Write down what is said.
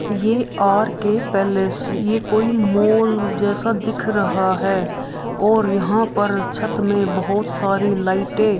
ये R K. Palace ये कोई मॉल जैसा दिख रहा है और यहाँ पर छत में बहुत सारी लाइटें --